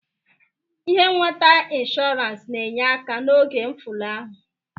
Ihe nweta inshọrans na-enye aka n'oge mfụlahụ.